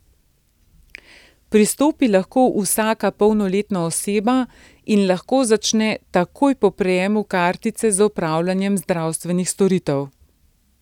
Pristopi lahko vsaka polnoletna oseba in lahko začne takoj po prejemu kartice z opravljanjem zdravstvenih storitev.